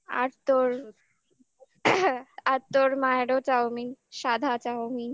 আর তোর আর তোর মায়েরও চাউমিন সাদা চাউমিন